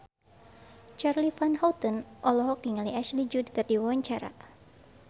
Charly Van Houten olohok ningali Ashley Judd keur diwawancara